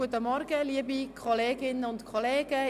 Guten Morgen, liebe Kolleginnen und Kollegen.